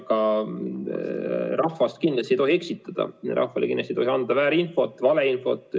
Aga rahvast kindlasti ei tohi eksitada, rahvale kindlasti tohi anda väärinfot, valeinfot.